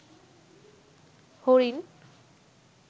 হরিণ